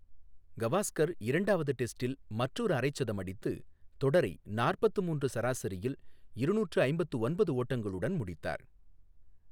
கவாஸ்கர் இரண்டாவது டெஸ்டில் மற்றொரு அரைச்சதம் அடித்து தொடரை நாற்பத்து மூன்று சராசரியில் இருநூற்று ஐம்பத்து ஒன்பது ஓட்டங்களுடன் முடித்தார்.